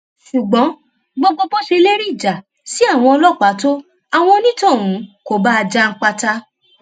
ṣùgbọn gbogbo bó ṣe lérí ìjà sí àwọn ọlọpàá tó àwọn onítọhún kò bá a janpata